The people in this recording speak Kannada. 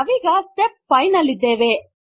ನಾವೀಗ ಸ್ಟೆಪ್ 5 ನಲ್ಲಿದ್ದೇವೆ